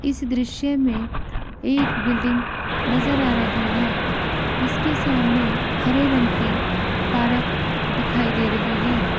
इस दृश्य में एक बिल्डिंग नजर आ रही है इसके सामने हरे रंग की पार्क दिखाई दे रही है।